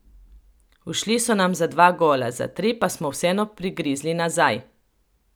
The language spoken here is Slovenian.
Ušli so nam za dva gola, za tri, pa smo vseeno prigrizli nazaj.